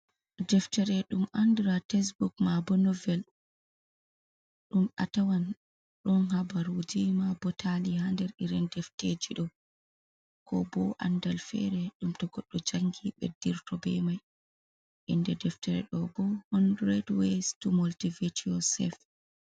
Deftere ɗum andiraa tesbuk, maa bo novel, ɗum a tawan ɗon habaruuji maa bo taali ha nder irin defteji ɗo, ko bo andal fere ɗum to goɗɗo jangi ɓeddirto be mai. Inde deftere ɗo bo hondret weys tu moltivet yu'a sef.